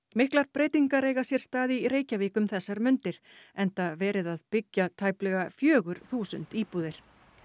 miklar breytingar eiga sér stað í Reykjavík um þessar mundir enda verið að byggja tæplega fjögur þúsund íbúðir